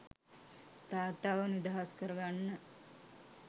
තාත්තාව නිදහස් කරගන්න.